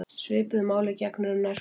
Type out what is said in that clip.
Svipuðu máli gegnir um nærföt.